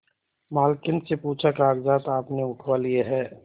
मालकिन से पूछाकागजात आपने उठवा लिए हैं